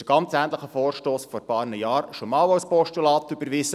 Vor ein paar Jahren wurde ein ähnlicher Vorstoss bereits als Postulat überwiesen.